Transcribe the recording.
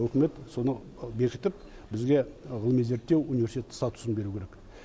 үкімет соны бекітіп бізге ғылыми зерттеу университеті статусын беруі керек